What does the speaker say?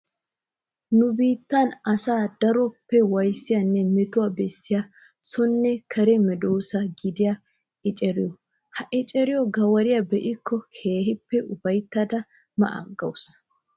Nu biittan asaa daroppe waayissiyaanne metuwaa bessiyaa sonne kare meedoossa gidiyaa eceriyoo. Ha eceriyoo garawiyaa be'iikko keehippe upayittada ma aggawusuu.